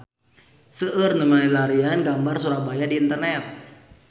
Seueur nu milarian gambar Surabaya di internet